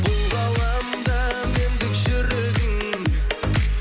бұл ғаламда мендік жүрегің